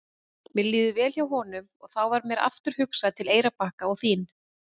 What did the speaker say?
Mér líður vel hjá honum og þá varð mér aftur hugsað til Eyrarbakka og þín.